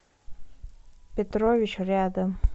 петрович рядом